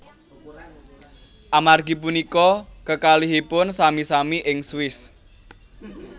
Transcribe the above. Amargi punika kekalihipun sami sami ing Swiss